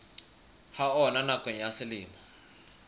ha ona nakong ya selemo